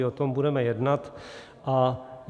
I o tom budeme jednat.